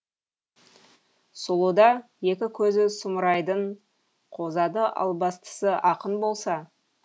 сұлуда екі көзі сұмырайдың қозады албастысы ақын болса